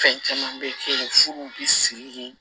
Fɛn caman bɛ kɛ yen furuw bɛ sigi de